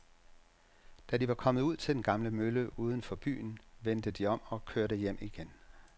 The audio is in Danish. Da de var kommet ud til den gamle mølle uden for byen, vendte de om og kørte hjem igen.